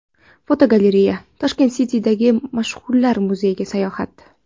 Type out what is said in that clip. Fotogalereya: Tashkent City’dagi mashhurlar muzeyiga sayohat.